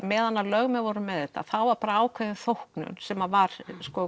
meðan lögmenn voru með þetta þá var ákveðin þóknun sem var